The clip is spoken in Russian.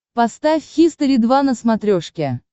поставь хистори два на смотрешке